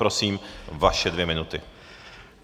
Prosím, vaše dvě minuty.